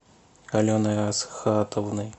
аленой асхатовной